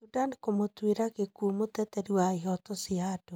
Sudan kũmũtuĩra gĩkuũ mũteteri wa ihoto cia andu